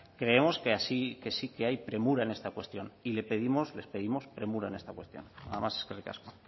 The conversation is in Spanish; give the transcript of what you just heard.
creemos que sí que hay premura en esta cuestión y le pedimos les pedimos premura en esta cuestión nada más eskerrik asko